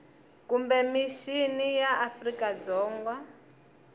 kumbe mixini ya afrika dzonga